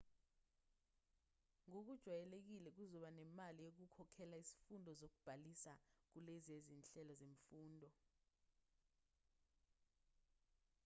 ngokujwayelekile kuzoba nemali yokukhokhela izifundo yokubhalisa kulezi zinhelo zemfundo